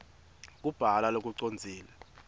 kubhala lokucondzile